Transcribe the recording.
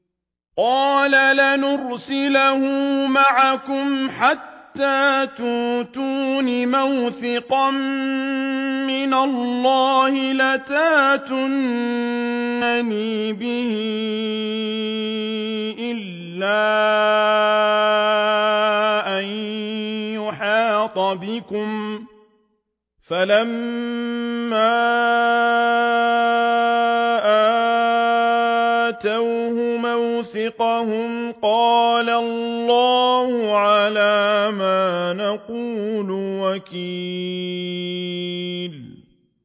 قَالَ لَنْ أُرْسِلَهُ مَعَكُمْ حَتَّىٰ تُؤْتُونِ مَوْثِقًا مِّنَ اللَّهِ لَتَأْتُنَّنِي بِهِ إِلَّا أَن يُحَاطَ بِكُمْ ۖ فَلَمَّا آتَوْهُ مَوْثِقَهُمْ قَالَ اللَّهُ عَلَىٰ مَا نَقُولُ وَكِيلٌ